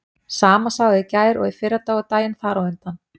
Sama sagan og í gær og fyrradag og daginn þar á undan.